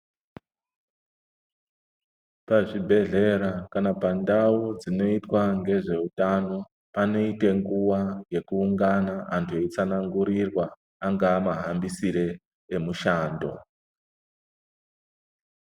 Pazvibhedhlera kana pandau dzinoyitwa ngezvewutano, panoyite nguwa yekuwungana, antu eyitsanangurirwa, angamahambisire emushando.